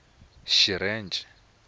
xirheche